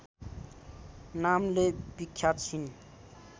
नामले विख्यात छिन्